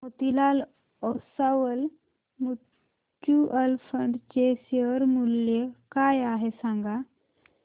Motilal Oswal mutual fund चे share मूल्य काय आहे सांगा